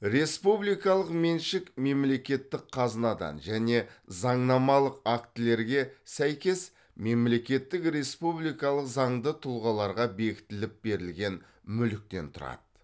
республикалық меншік мемлекеттік қазынадан және заңнамалық актілерге сәйкес мемлекеттік республикалық заңды тұлғаларға бекітіліп берілген мүліктен тұрады